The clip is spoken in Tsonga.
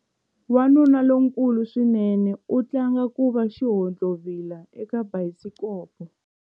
Wanuna lonkulu swinene u tlanga ku va xihontlovila eka bayisikopo.